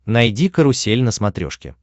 найди карусель на смотрешке